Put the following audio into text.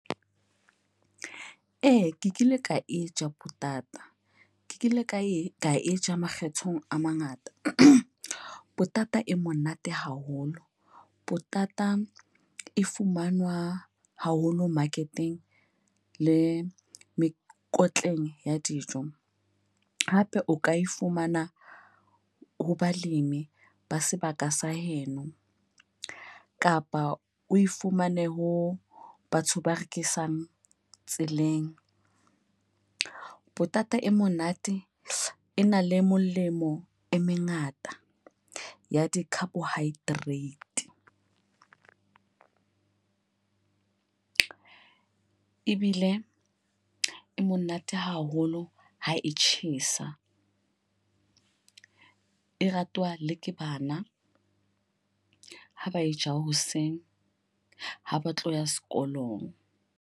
Ee, ke kile ka entsha potata. Ke kile ka e ka e ja makgetho a mangata. Potata e monate haholo. Potata e fumanwa haholo market-eng le mekotleng ya dijo. Hape o ka e fumana ho balemi ba sebaka sa heno, kapa o e fumane ho batho ba rekisang tseleng. Potata e monate e na le melemo e mengata ya di-carbohydrate. Ebile e monate haholo ha e tjhesa. E ratwa le ke bana ha ba e ja hoseng ha ba tlo ya sekolong.